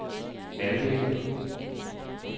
halvdel